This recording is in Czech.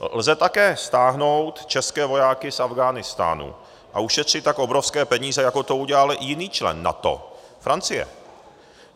Lze také stáhnout české vojáky z Afghánistánu a ušetřit tak obrovské peníze, jako to udělal i jiný člen NATO - Francie.